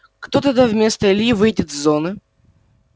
кто тогда вместо ильи выйдет с зоны